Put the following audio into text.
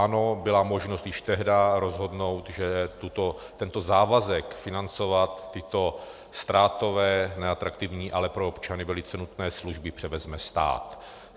Ano, bylo možno již tehdy rozhodnout, že tento závazek financovat tyto ztrátové, neatraktivní, ale pro občany velice nutné služby převezme stát.